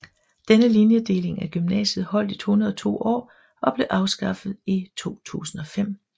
Denne linjedeling af gymnasiet holdt i 102 år og blev afskaffet i 2005